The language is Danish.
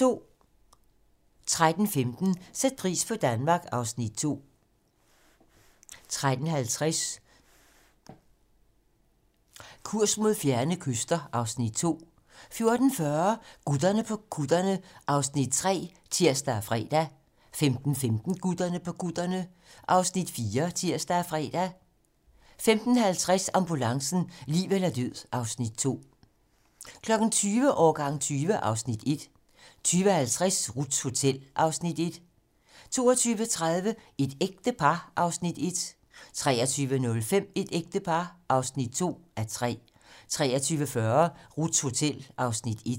13:15: Sæt pris på Danmark (Afs. 2) 13:50: Kurs mod fjerne kyster (Afs. 2) 14:40: Gutterne på kutterne (Afs. 3)(tir og fre) 15:15: Gutterne på kutterne (Afs. 4)(tir og fre) 15:50: Ambulancen - liv eller død (Afs. 2) 20:00: Årgang 20 (Afs. 1) 20:50: Ruths Hotel (Afs. 1) 22:30: Et ægte par (1:3) 23:05: Et ægte par (2:3) 23:40: Ruths Hotel (Afs. 1)